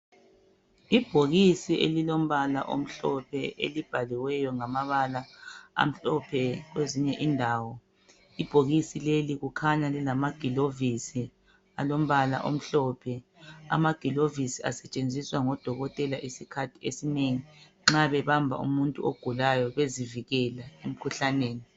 Ibhokisi elilombala omhlophe elibhaliweyo ngamabala amhlophe kwezinye indawo ibhokisi leli kukhanya lilamagilovisi alombala omhlophe amagilovisi asetshenziswa ngodokotela isikhathi esinengi nxa bebamba umuntu ogulayo bezivikela emkhuhlaneni.